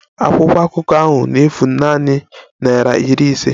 Akwụkwọ akụkọ ahụ na-efu nanị naịra iri ise